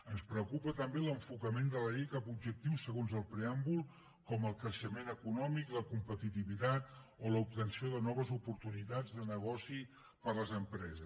ens preocupa també l’enfocament de la llei cap a objectius segons el preàmbul com el creixement econòmic la competitivitat o l’obtenció de noves oportunitats de negoci per a les empreses